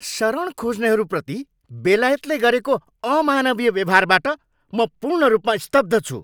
शरण खोज्नेहरूप्रति बेलायतले गरेको अमानवीय व्यवहारबाट म पूर्ण रूपमा स्तब्ध छु।